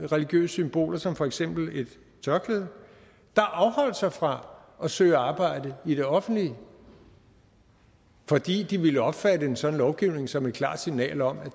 religiøse symboler som for eksempel et tørklæde der afholdt sig fra at søge arbejde i det offentlige fordi de ville opfatte en sådan lovgivning som et klart signal om at